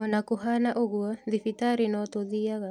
Ona kũhana ũguo, thibitarĩ no tũthiaga